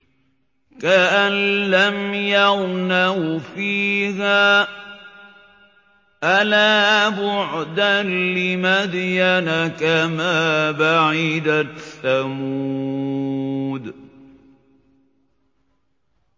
كَأَن لَّمْ يَغْنَوْا فِيهَا ۗ أَلَا بُعْدًا لِّمَدْيَنَ كَمَا بَعِدَتْ ثَمُودُ